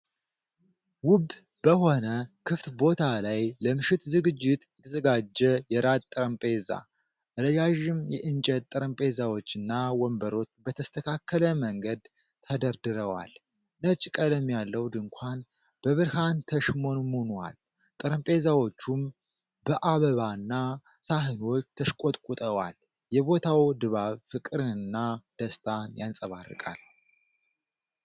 ውብ በሆነ ክፍት ቦታ ላይ ለምሽት ዝግጅት የተዘጋጀ የራት ጠረጴዛ፣ ረዣዥም የእንጨት ጠረጴዛዎችና ወንበሮች በተስተካከለ መንገድ ተደርድረዋል። ነጭ ቀለም ያለው ድንኳን በብርሃን ተሽሞንሙኗል፤ ጠረጴዛዎቹም በአበባና ሳህኖች ተሽቆጥቁጠዋል። የቦታው ድባብ ፍቅርና ደስታን ያንጸባርቃል።